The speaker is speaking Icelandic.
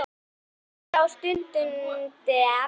Samt dreg ég stundina á langinn.